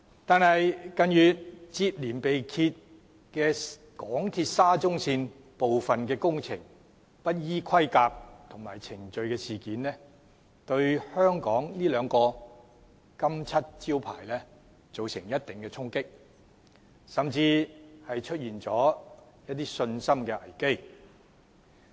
但是，香港鐵路沙田至中環線近月接連被揭部分工程不依規格及程序施工的事件，對香港這兩面金漆招牌造成一定的衝擊，甚至導致信心危機。